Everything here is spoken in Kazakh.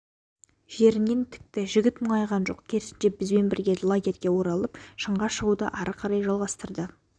жерінен тікті жігіт мұңайған жоқ керісінше бізбен бірге лагерьге оралып шыңға шығуды ары қарай жалғастрды